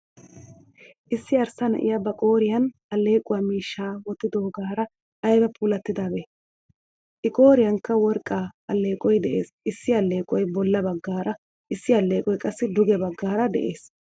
Issi arssa na'iyaa ba qooriyan allequwaa miishshaa wottidogaara ayba puulattidabe. I qooriyankka worqqa alleeqoy de'ees. Issi alleeqoy bolla baggaara issi alleeqoy qassi duge baggaara de'ees.